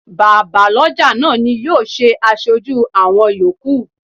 Bàbá lọ́jà náà ni yóò ṣe aṣojú àwọn yòókù.